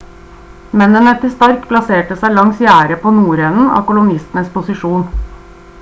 mennene til stark plasserte seg langs gjerdet på nordenden av kolonistenes posisjon